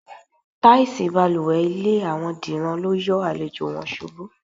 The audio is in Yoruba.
Táìsì balùwè ilé àwo̩n Dìran lo yo̩ àlejò̩ wo̩n s̩ubú.